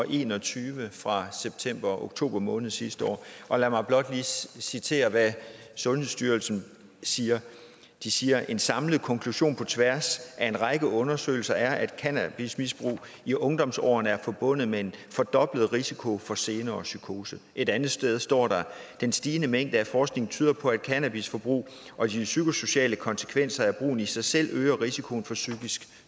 en og tyve fra septemberoktober måned sidste år lad mig blot lige citere hvad sundhedsstyrelsen siger de siger en samlet konklusion på tværs af en række undersøgelser er at cannabismisbrug i ungdomsårene er forbundet med en fordoblet risiko for senere psykose et andet sted står der den stigende mængde af forskning tyder på at cannabisforbrug og de psykosociale konsekvenser af brugen i sig selv øger risikoen for psykisk